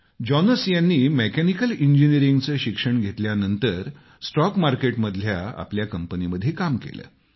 Jonas यांनी mechanical इंजिनीअरिंगचं शिक्षण घेतल्यानंतर स्टॉक मार्केटमधल्या आपल्या कंपनीमध्ये काम केलं